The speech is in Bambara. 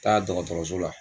Taa dɔgɔtɔrɔso la